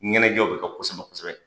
Ɲɛnajɛw bɛ kɛ kosɛbɛ kosɛbɛ.